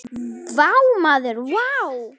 Vá maður vá!